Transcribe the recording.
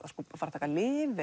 fara að taka lyf